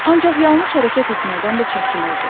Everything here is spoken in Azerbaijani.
Ancaq yanlış hərəkət etməkdən də çəkinirdi.